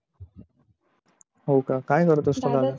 हो का काय करत असतो